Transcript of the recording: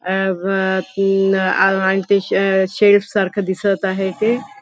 अ ब तीन आणि शेल्फ सारखं दिसत आहे ते.